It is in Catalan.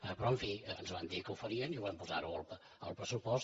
però en fi ens van dir que ho farien i ho vam posar al pressupost